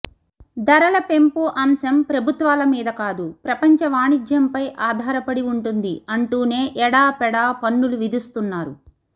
ధరల పెంపు అంశం ప్రభుత్వాల మీద కాదు ప్రపంచ వాణిజ్యంపై ఆధారపడి ఉంటుంది అంటూనే ఏడా పెడా పన్నులు విధిస్తున్నారు